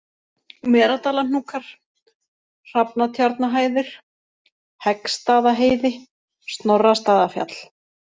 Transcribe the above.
Meradalahnúkar, Hrafnatjarnahæðir, Heggstaðaheiði, Snorrastaðafjall